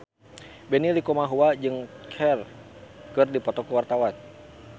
Benny Likumahua jeung Cher keur dipoto ku wartawan